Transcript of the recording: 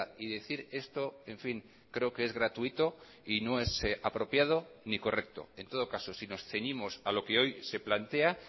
y decir esto en fin creo que es gratuito y no es apropiado ni correcto en todo caso si nos ceñimos a lo que hoy se plantea